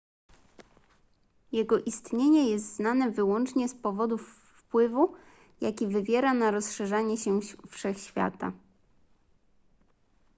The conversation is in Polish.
jego istnienie jest znane wyłącznie z powodu wpływu jaki wywiera na rozszerzanie się wszechświata